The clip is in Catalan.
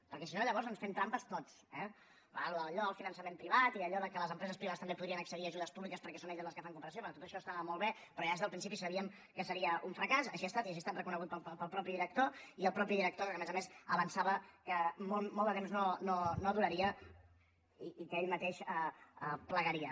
perquè si no llavors ens fem trampes tots eh clar allò del finançament privat i allò que les empreses privades també podrien accedir a ajudes públiques perquè són elles les que fan cooperació tot això estava molt bé però ja des del principi sabíem que seria un fracàs així ha estat i així ha estat reconegut pel mateix director i el mateix director que a més a més avançava que molt de temps no duraria i que ell mateix plegaria